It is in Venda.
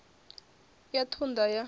ya u ṱun ḓa ya